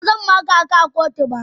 Ba zan maka ka a kotu ba.